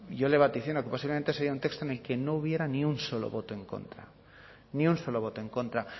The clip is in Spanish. yo le vaticino que posiblemente sería un texto en el que no hubiera ni un solo voto en contra ni un solo voto en contra